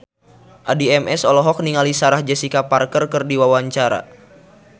Addie MS olohok ningali Sarah Jessica Parker keur diwawancara